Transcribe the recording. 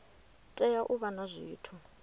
tea u vha na zwithu